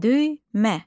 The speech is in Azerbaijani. Düymə.